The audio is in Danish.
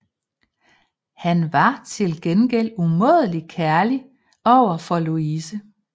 Han var til gengæld umådelig kærlig over for Louise